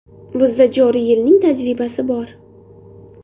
Bizda joriy yilning tajribasi bor.